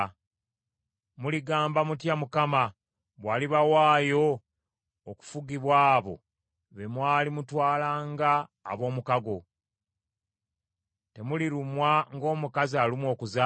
Muligamba mutya Mukama bw’alibawaayo okufugibwa abo be mwali mutwala nga ab’omukago? Temulirumwa ng’omukazi alumwa okuzaala?